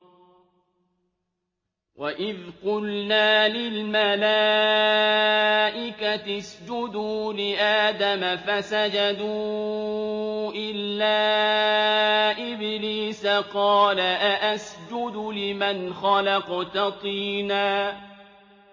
وَإِذْ قُلْنَا لِلْمَلَائِكَةِ اسْجُدُوا لِآدَمَ فَسَجَدُوا إِلَّا إِبْلِيسَ قَالَ أَأَسْجُدُ لِمَنْ خَلَقْتَ طِينًا